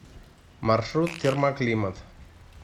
маршрут термоклимат